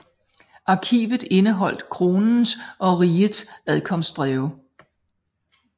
Arkivet indeholdt kronens og rigets adkomstbreve